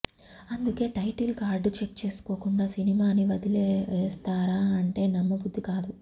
అందుకే title card check చేసుకోకుండా సినిమాని వదిలేస్తారా అంటే నమ్మబుద్ది కాదు